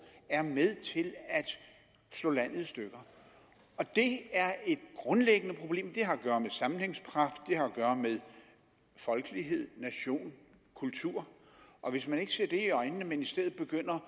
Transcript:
er med til at slå landet i stykker og det er et grundlæggende problem det har at gøre med sammenhængskraft det har at gøre med folkelighed nation kultur og hvis man ikke ser det i øjnene men i stedet begynder